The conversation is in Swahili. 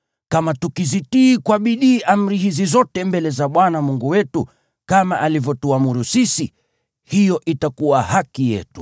Kama tukizitii kwa bidii amri hizi zote mbele za Bwana Mungu wetu, kama alivyotuamuru sisi, hiyo itakuwa haki yetu.”